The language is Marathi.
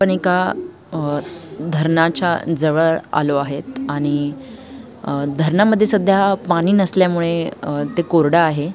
आपण एका अ धरणाच्या जवळ आलो आहेत आणि अ धरणामध्ये सध्या पाणी नसल्यामुळे अ ते कोरड आहे.